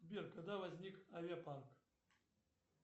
сбер когда возник авиапарк